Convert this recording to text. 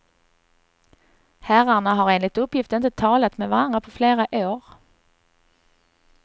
Herrarna har enligt uppgift inte talat med varandra på flera år.